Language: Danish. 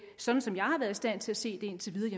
sådan som jeg har været stand til at se det indtil videre